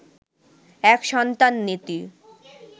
এক সন্তান নীতি